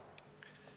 Head Riigikogu liikmed!